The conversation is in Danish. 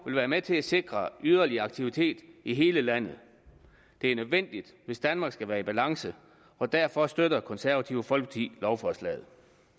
vil være med til at sikre yderligere aktivitet i hele landet det er nødvendigt hvis danmark skal være i balance og derfor støtter det konservative folkeparti lovforslaget